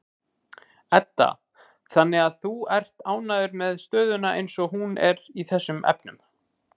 Edda: Þannig að þú ert ánægður með stöðuna eins og hún er í þessum efnum?